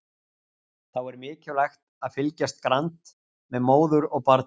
Þá er mikilvægt að fylgjast grannt með móður og barni.